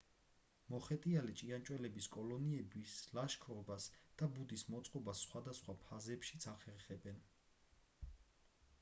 მოხეტიალე ჭიანჭველების კოლონიები ლაშქრობას და ბუდის მოწყობას სხვადასხვა ფაზებშიც ახერხებენ